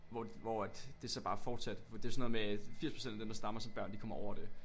Hvor hvor at det så bare fortsatte det er sådan noget med at 80% af dem der stammer som børn de kommer over det